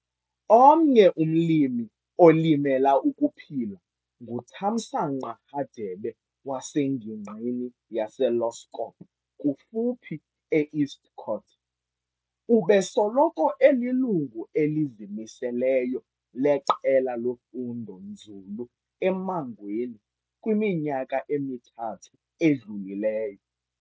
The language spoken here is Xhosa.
Omnye umlimi olimela ukuphila nguThamsanqa Hadebe wasengingqini yaseLoskop kufuphi eEstcourt. Ubesoloko elilungu elizimiseleyo leQela loFundo-nzulu e-Emangweni kwiminyaka emithathu edlulileyo.